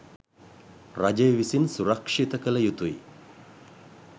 රජය විසින් සුරක්ෂිත කළ යුතුයි.